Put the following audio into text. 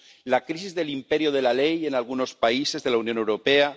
la crisis del imperio de la ley en algunos países de la Unión Europea